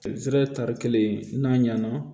tari kelen n'a ɲɛna